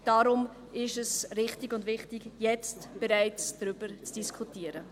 Deshalb ist es richtig und wichtig, bereits jetzt darüber zu diskutieren.